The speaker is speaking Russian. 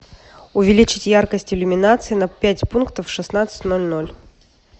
увеличить яркость иллюминации на пять пунктов в шестнадцать ноль ноль